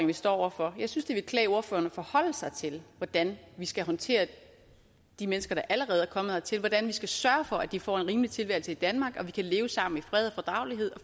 vi står over for jeg synes det ville klæde ordføreren at forholde sig til hvordan vi skal håndtere de mennesker der allerede er kommet hertil altså hvordan vi skal sørge for at de får en rimelig tilværelse i danmark og at vi kan leve sammen i fred